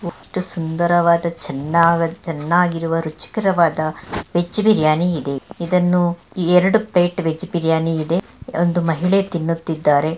ಎಷ್ಟು ಸುಂದರವಾದ ಚೆನ್ನ ಚೆನ್ನಾಗಿರುವ ರುಚಿಕರವಾದ ವೆಜ್ ಬಿರಿಯಾನಿ ಇದೆ. ಇದನ್ನು ಎರಡು ಪ್ಲೇಟ್ ವೆಜ್ ಬಿರಿಯಾನಿ ಇದೆ. ಅಲ್ಲೊಂದು ಮಹಿಳೆ ತಿನ್ನುತ್ತಿದ್ದಾರೆ.